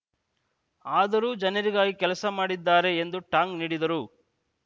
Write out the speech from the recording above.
ಆದರೂ ಜನರಿಗಾಗಿ ಕೆಲಸ ಮಾಡಿದ್ದಾರೆ ಎಂದು ಟಾಂಗ್‌ ನೀಡಿದರು